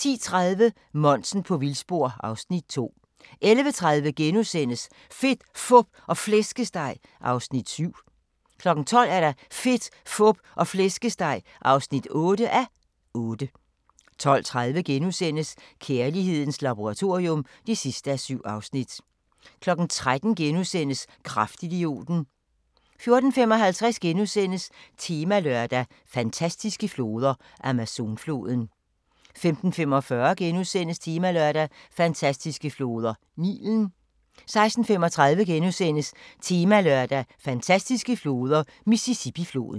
10:30: Monsen på vildspor (Afs. 2) 11:30: Fedt, Fup og Flæskesteg (7:8)* 12:00: Fedt, Fup og Flæskesteg (8:8) 12:30: Kærlighedens laboratorium (7:7)* 13:00: Kraftidioten * 14:55: Temalørdag: Fantastiske floder – Amazonfloden * 15:45: Temalørdag: Fantastiske floder: Nilen * 16:35: Temalørdag: Fantastiske floder: Mississippifloden *